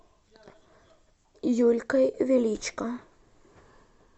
юлькой величко